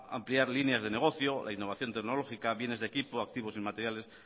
ampliar líneas de negocio la innovación tecnológica bienes de equipo activos inmateriales